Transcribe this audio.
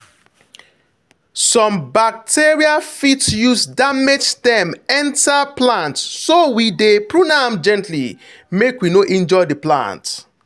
some bacteria fit use damaged stem enter plant so we dey prune am gently make we no injure the plant.